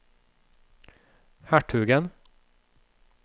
hertugen